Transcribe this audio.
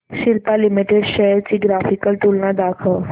Cipla limited shares ची graphical तुलना दाखव